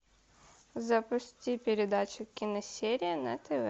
запусти передачу киносерия на тв